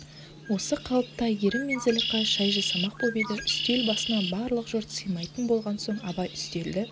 осы қалыпта әйгерім мен зылиқа шай жасамақ боп еді үстел басына барлық жұрт сыймайтын болған соң абай үстелді